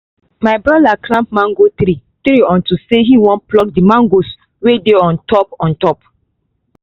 my broda climb mango tree tree unto say him won pluck the mangoes wey dey on top on top